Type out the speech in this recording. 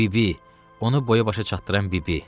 Bibi, onu boya-başa çatdıran bibi.